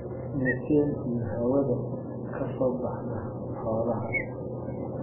Methane iyo hawada ka soo baxda xoolaha.